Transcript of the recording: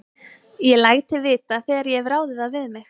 Ég læt þig vita, þegar ég hef ráðið það við mig